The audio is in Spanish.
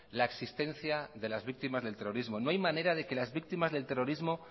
la existencia de las víctimas del terrorismo no hay manera de que las víctimas del terrorismo